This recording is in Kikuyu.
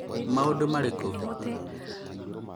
maũndũ marĩkũ?